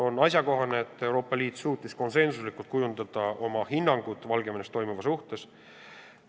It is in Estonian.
On asjakohane, et Euroopa Liit suutis konsensuslikult kujundada oma hinnangu Valgevenes toimuva suhtes.